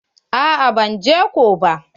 A'a ban je ko ba.